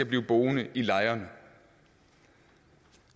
blive boende i lejrene